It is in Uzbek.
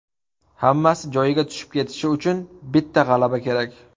Hammasi joyiga tushib ketishi uchun bitta g‘alaba kerak.